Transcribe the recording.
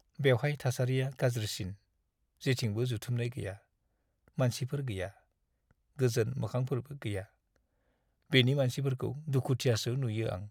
बेवहाय थासारिआ गाज्रिसिन, जेथिंबो जथुमनाय गैया, मानसिफोर गैया, गोजोन मोखांफोरबो गैया। बेनि मानसिफोरखौ दुखुथियासो नुयो आं!